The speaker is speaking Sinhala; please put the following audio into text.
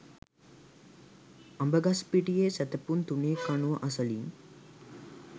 අඹගස්පිටියේ සැතපුම් තුනේ කණුව අසලින්